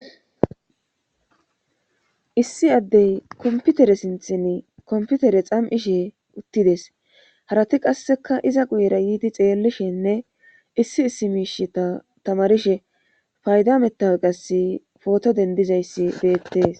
issi addey kompitere sinththenii kompitere xam'ishe uttides harati qasseka iza guyera yiidi xeellishenne issi issi miishsheta tamarishe fayda mettawoqeza qasi pooto dendizayssi beettees